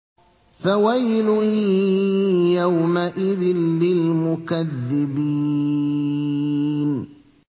فَوَيْلٌ يَوْمَئِذٍ لِّلْمُكَذِّبِينَ